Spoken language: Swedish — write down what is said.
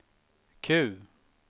Q